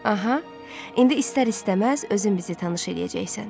Aha, indi istər-istəməz özün bizi tanış edəcəksən.